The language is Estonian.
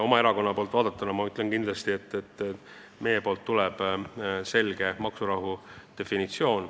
Oma erakonna poolt vaadatuna ma ütlen kindlasti, et meilt tuleb selge seisukoht: maksurahu.